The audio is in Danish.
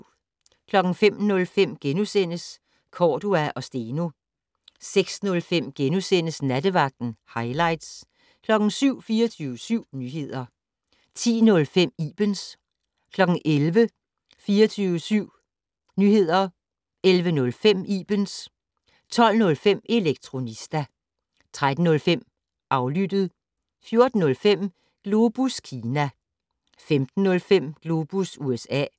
05:05: Cordua & Steno * 06:05: Nattevagten - hightlights * 07:00: 24syv Nyheder 10:05: Ibens 11:00: 24syv Nyheder 11:05: Ibens 12:05: Elektronista 13:05: Aflyttet 14:05: Globus Kina 15:05: Globus USA